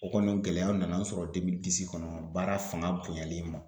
O kɔni gɛlɛya nana an sɔrɔ kɔnɔ baara fanga bonyali ma.